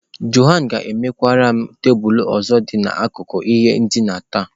Jona ga-emekwara m tebụl ọzọ dị n’akụkụ ihe ndina taa.